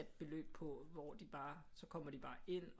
Beløb på hvor de bare så kommer de bare ind